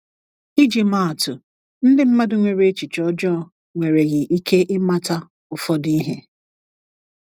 ịjị maa atụ, ndi madụ nwere echiche ojoo nwereghi ike ịmata ụfọdụ ihe.